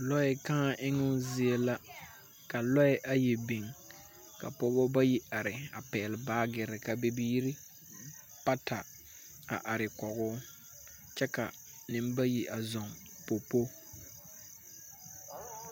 Lɔɛ kãã eŋo zie la, ka lɔɛ ayi biŋ ka pɔgeba bayi are a pɛgele baagere ka bibiiri bata are kɔge o kyɛ ka nembayi a zɔŋ popo.